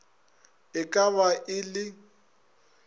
e ka ba e le